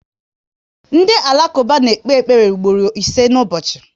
Ndị Alakuba na ekpe ekpere mgboro ise na ụbọchị